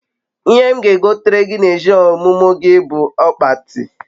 ihe m ga egotere gi n'eshi omumu gi bu ogbati